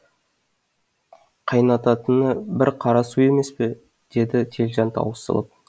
қайнататыны бір қара су емес пе деді телжан таусылып